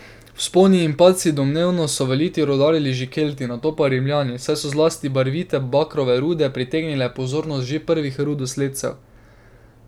Vzponi in padci Domnevno so v Litiji rudarili že Kelti, nato pa Rimljani, saj so zlasti barvite bakrove rude pritegnile pozornost že prvih rudosledcev.